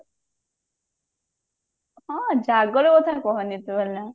ହଁ ଜାଗର କଥା କହନି ତୁ